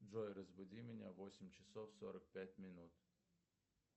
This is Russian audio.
джой разбуди меня в восемь часов сорок пять минут